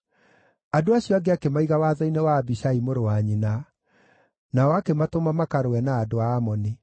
Andũ acio angĩ akĩmaiga watho-inĩ wa Abishai mũrũ wa nyina. Nao akĩmatũma makarũe na andũ a Amoni.